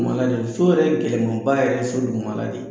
So yɛrɛ gɛlɛnmanba yɛrɛ ye so dugumala de ye